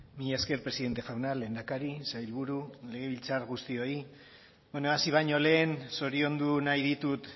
mila esker presidente jauna lehendakari sailburu legebiltzar guztioi hasi baino lehen zoriondu nahi ditut